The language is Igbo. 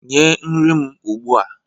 nye nri m ugbua!